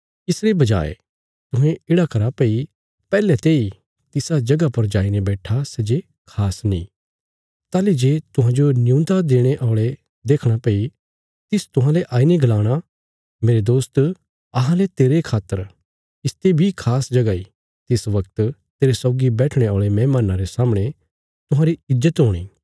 इसरे बजाये तुहें येढ़ा करा भई पैहले तेई तिसा जगह पर जाईने बैट्ठा सै जे खास नीं ताहली जे तुहांजो नियून्दा देणे औल़े देखणा फेरी तिस तुहांले आईने गलाणा मेरे दोस्त अहांले तेरे खातर इसते बी खास जगह इ तिस बगत तेरे सौगी बैठणे औल़े मेहमान्नां रे सामणे तुहांरी ईज्जत हूणी